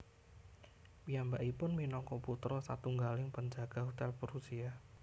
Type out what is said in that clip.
Piyambakipun minangka putra satunggaling penjaga hotel Prusia